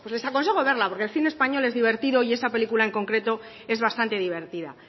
pues les aconsejo verla porque el cine español es divertido y esa película en concreto es bastante divertida